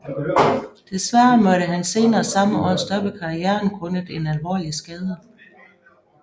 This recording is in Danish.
Desværre måtte han senere samme år stoppe karrieren grundet en alvorlig skade